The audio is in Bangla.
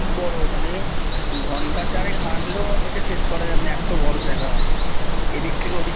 অনেক বড় মানে ঘণ্টা চারেক হাঁটলেও হেঁটে শেষ করা যাবেনা এত বড় জায়গা এদিক থেকে ওদিক